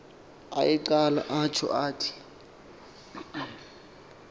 ayeqale atjho athi